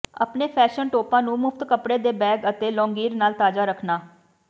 ਆਪਣੇ ਫੈਸ਼ਨ ਟੌਪਾਂ ਨੂੰ ਮੁਫਤ ਕੱਪੜੇ ਦੇ ਬੈਗ ਅਤੇ ਲੌਂਗੀਰ ਨਾਲ ਤਾਜ਼ਾ ਰੱਖਣਾ